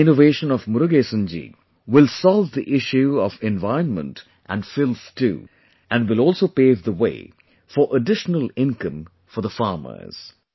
This innovation of Murugesan ji will solve the issues of environment and filth too, and will also pave the way for additional income for the farmers